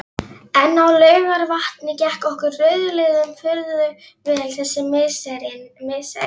En á Laugarvatni gekk okkur rauðliðum furðu vel þessi misserin.